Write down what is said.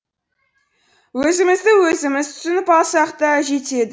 өзімізді өзіміз түсініп алсақ та жетеді